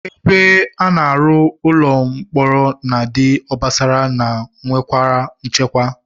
Ebe a na-arụ ụlọ mkpọrọ na-adị obosara ma nwekwara nchekwa